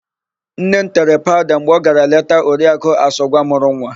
Nne m tere paụda mgbe ọ gara leta Oriakụ Asọgwa mụrụ nwa.